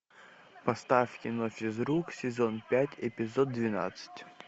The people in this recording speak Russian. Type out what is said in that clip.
поставь кино физрук сезон пять эпизод двенадцать